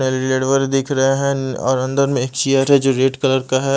दिख रहा है और अंदर में एक चेयर है जो रेड कलर का है।